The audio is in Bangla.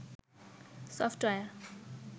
সফটওয়্যার